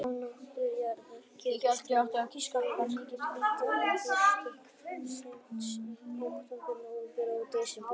Á norðurhveli jarðar gerist þetta þegar líður á haustið, seint í október, nóvember og desember.